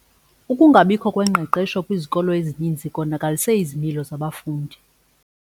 Ukungabikho kwengqeqesho kwizikolo ezininzi konakalise izimilo zabafundi.